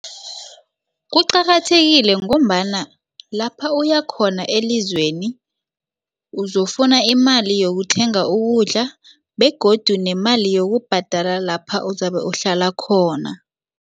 Kuqakathekile ngombana lapha uya khona elizweni uzokufuna imali yokuthenga ukudla begodu nemali yokubhadala lapha uzabe uhlala khona.